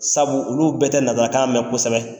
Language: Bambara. Sabu olu bɛɛ tɛ nakan mɛn kosɛbɛ